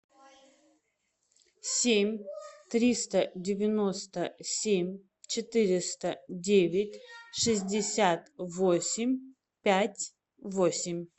семь триста девяносто семь четыреста девять шестьдесят восемь пять восемь